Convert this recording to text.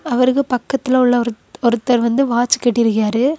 அவருக்கு பக்கத்துல உள்ள ஒருத் ஒருத்தர் வந்து வாட்ச் கட்டிருக்கியாரு.